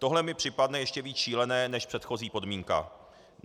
Tohle mi připadne ještě víc šílené než předchozí podmínka.